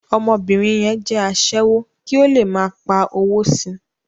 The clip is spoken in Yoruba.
Ọmọbìnrin yẹn jẹ́ aṣẹ́wó kí ó le máa pa owó si.